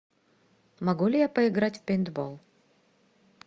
могу ли я поиграть в пейнтбол